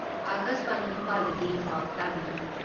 ꯑꯀꯥꯁꯕꯥꯅꯤ ꯏꯝꯐꯥꯜꯗꯒꯤ ꯄꯥꯎ ꯇꯥꯕꯤꯔꯤ